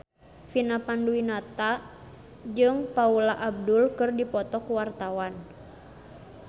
Vina Panduwinata jeung Paula Abdul keur dipoto ku wartawan